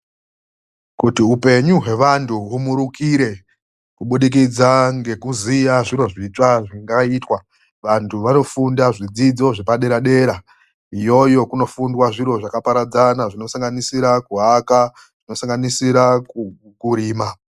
KUTI UPENYU HWEVANTU HUMURUKIRE KUBUDIKIDZA NGEKUZIYA ZVIRO ZVITSVA ZVINGAITWA. VANTU VANOFUNDA ZVIDZIDZO ZVEPADERA DERA. IYOYO KUNOFUNDWA ZVIRO ZVAKAPARADZANA, ZVINOSANGANISIRA KUAKA, ZVINOSANGANISIRA KURIMA.